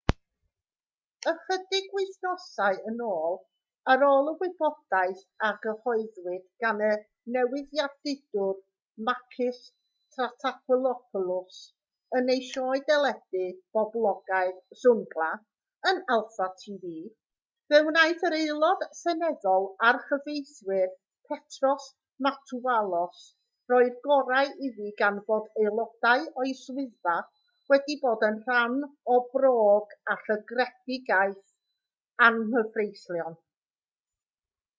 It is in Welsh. ychydig wythnosau yn ôl ar ôl y wybodaeth a gyhoeddwyd gan y newyddiadurwr makis triantafylopoulos yn ei sioe deledu boblogaidd zoungla yn alpha tv fe wnaeth yr aelod seneddol a'r cyfreithiwr petros matouvalos roi'r gorau iddi gan fod aelodau o'i swyddfa wedi bod yn rhan o bròg a llygredigaeth anghyfreithlon